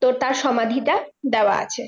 তো তার সমাধিটা দেওয়া আছে।